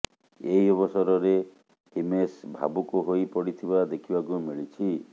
ଏହି ଅବସରରେ ହିମେଶ ଭାବୁକ ହୋଇ ପଡ଼ିଥିବା ଦେଖିବାକୁ ମିଳିଛି